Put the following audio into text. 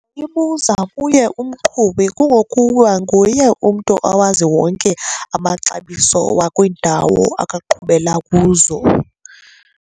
Ibuza kuye umqhubi kungokuba nguye umntu owazi wonke amaxabiso wakwiindawo akhe aqhubela kuzo.